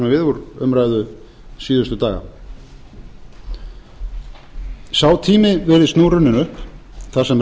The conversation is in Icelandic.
úr umræðu síðustu daga sá tími virðist nú runninn upp þar sem